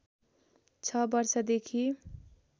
६ वर्षदेखि